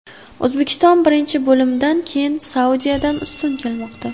O‘zbekiston birinchi bo‘limdan keyin Saudiyadan ustun kelmoqda.